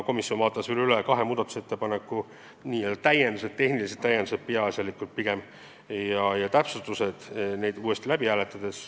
Komisjon vaatas veel üle kahe muudatusettepaneku tehnilised täpsustused ja hääletas neid uuesti.